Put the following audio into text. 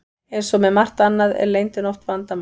Eins og með margt annað er leyndin oft vandamál.